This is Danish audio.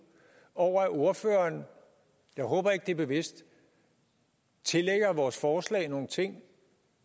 over at ordføreren og jeg håber ikke det er bevidst tillægger vores forslag nogle ting